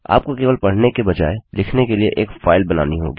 आपको केवल पढ़ने के बजाय लिखने के लिए एक फाइल बनानी होगी